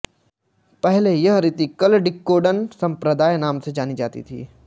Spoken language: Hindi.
पहले यह रीति कल्लडिक्कोडन संप्रदाय नाम से जानी जाती थी